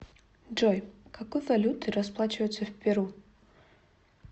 джой какой валютой расплачиваются в перу